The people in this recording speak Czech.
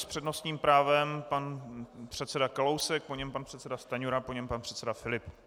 S přednostním právem pan předseda Kalousek, po něm pan předseda Stanjura, po něm pan předseda Filip.